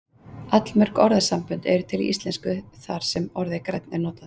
Allmörg orðasambönd eru til í íslensku þar sem orðið grænn er notað.